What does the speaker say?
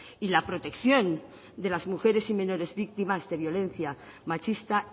y la protección de las mujeres y menores víctimas de violencia machista